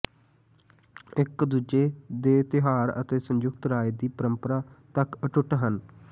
ਇਕ ਦੂਜੇ ਦੇ ਤਿਉਹਾਰ ਅਤੇ ਸੰਯੁਕਤ ਰਾਜ ਦੀ ਪਰੰਪਰਾ ਤੱਕ ਅਟੁੱਟ ਹਨ